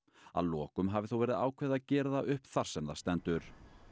að lokum hafi þó verið ákveðið að gera það upp þar sem það stendur